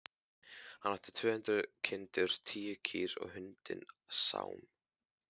Hann átti tvö hundruð kindur, tíu kýr og hundinn Sám.